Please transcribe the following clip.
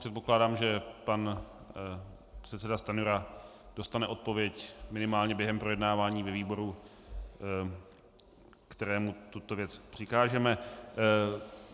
Předpokládám, že pan předseda Stanjura dostane odpověď minimálně během projednávání ve výboru, kterému tuto věc přikážeme.